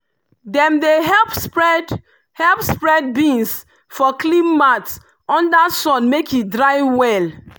dem dey help spread help spread beans for clean mat under sun make e dry well.